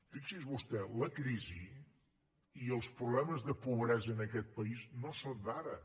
fixi’s vostè la crisi i els problemes de pobresa en aquest país no són d’ara